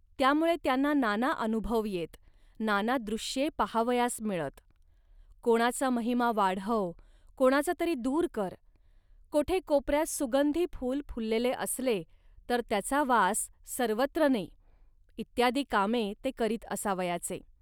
त्यामुळे त्यांना नाना अनुभव येत, नाना दृश्ये पाहावयास मिळत. कोणाचा महिमा वाढव, कोणाचा तरी दूर कर, कोठे कोपऱ्यात सुगंधी फूल फुललेले असले, तर त्याचा वास सर्वत्र ने, इत्यादी कामे ते करीत असावयाचे